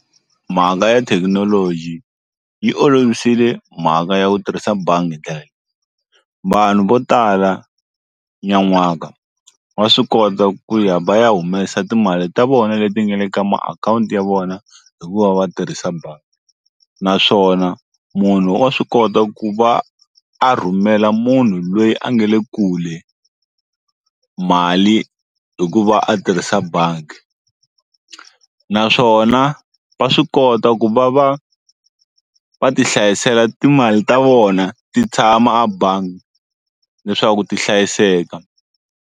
Mhaka ya thekinoloji yi olovisile mhaka ya ku tirhisa bangi hi ndlela leyi vanhu vo tala nyan'waka wa swi kota ku ya va ya humesa timali ta vona leti nga le ka makhawunti ya vona hi kuva va tirhisa bangi naswona munhu wa swi kota ku va a rhumela munhu loyi a nga le kule mali hi ku va a tirhisa bangi naswona va swi kota ku va va va ti hlayisela timali ta vona ti tshama a bangi leswaku ti hlayiseka.